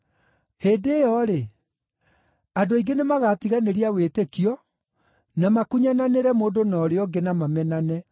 Hĩndĩ ĩyo-rĩ, andũ aingĩ nĩmagatiganĩria wĩtĩkio na makunyananĩre mũndũ na ũrĩa ũngĩ, na mamenane.